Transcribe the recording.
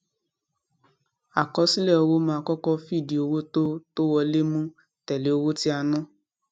àkọsílẹ owó máa kọkọ fìdí owó tó tó wọlé mú tèlè owó tí a ná